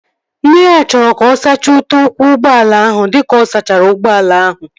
Nne ya chọrọ ka ọ sachaa ute ụkwụ ụgbọala ahụ dịka ọ sachara ụgbọala ahụ